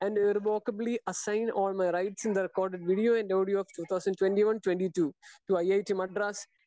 Speaker 2 and irrevocably assign on a rights in the recorded video and audio two thousand twenty one twenty two. To I I T Madras